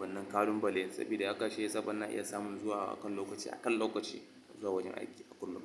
wannan kalun bale saboda haka shi yasa banna iya samun zuwa akan lokaci, akan lokaci zuwa wajen aiki a kullum.